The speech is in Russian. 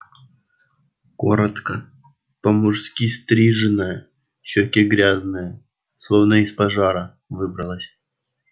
коротко по-мужски стриженная щёки грязные словно из пожара выбралась